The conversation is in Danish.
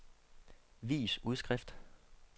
vis udskrift